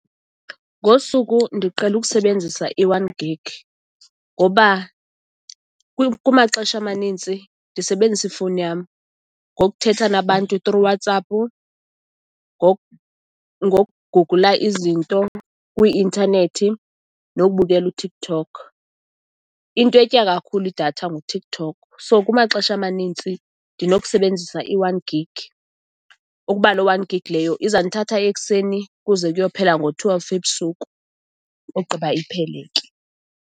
Ngosuku ndiqhele ukusebenzisa i-one gig ngoba kumaxesha amanintsi ndisebenzisa ifowuni yam ngokuthetha nabantu through WhatsApp, ngokugugula izinto kwi-intanethi, nokubukela uTikTok. Into etya kakhulu idatha nguTikTok. So, kumaxesha manintsi ndinokusebenzisa i-one gig. Ukuba loo one gig leyo izawundithatha ekuseni ukuze kuyophela ngo-twelve ebusuku, ogqiba iphele ke.